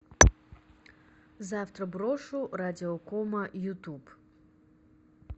завтра брошу радиокома ютуб